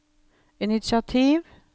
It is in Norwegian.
initiativ